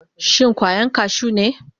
Shin kwayan kashu ne?